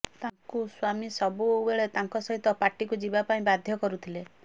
ତାଙ୍କୁ ସ୍ୱାମୀ ସବୁ ବେଳେ ତାଙ୍କ ସହିତ ପାର୍ଟିକୁ ଯିବା ପାଇଁ ବାଧ୍ୟ କରୁଥିଲେ